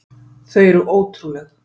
Þau eru ótrúleg.